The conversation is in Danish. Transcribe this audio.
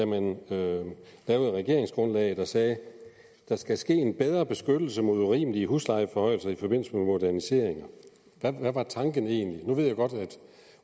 man lavede regeringsgrundlaget og sagde der skal ske en bedre beskyttelse mod urimelige huslejeforhøjelser i forbindelse med moderniseringer hvad var tanken egentlig nu ved jeg godt at